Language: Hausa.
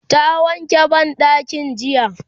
ta wanke banɗakin jiya